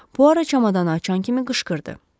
Puaro çamadanı açan kimi qışqırdı.